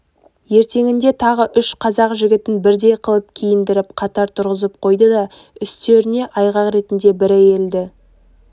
ертеңінде тағы үш қазақ жігітін бірдей қылып киіндіріп қатар тұрғызып қойды да үстеріне айғақ ретінде бір әйелді